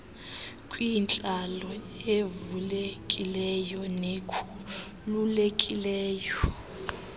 kwintlalo evulekileyo nekhululekileyo